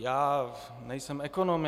Já nejsem ekonom.